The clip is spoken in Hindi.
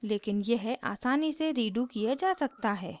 लेकिन यह आसानी से रीडू किया जा सकता है